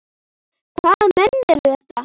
Hvaða menn eru þetta?